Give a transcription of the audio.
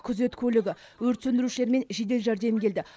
күзет көлігі өрт сөндірушілер мен жедел жәрдем келді